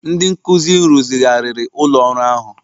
Ndị nkuzi rụzigharịrị ụlọ ọrụ ahụ